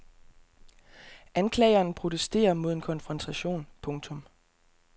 Anklageren protesterer mod en konfrontation. punktum